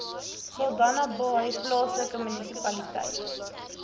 saldanhabaai plaaslike munisipaliteit